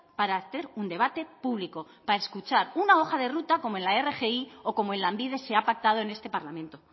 para hacer un debate público para escuchar una hoja de ruta como en la rgi o como en lanbide se ha pactado en este parlamento